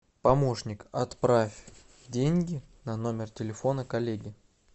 помощник отправь деньги на номер телефона коллеге